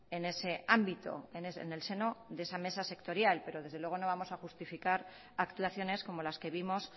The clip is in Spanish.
en ese ámbito en el seno de esa mesa sectorial pero desde luego no vamos a justificar actuaciones como las que vimos